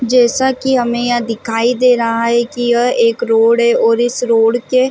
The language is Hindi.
जैसा की हमें यहाँ दिखाई दे रहा है की यह एक रोड है और इस रोड के--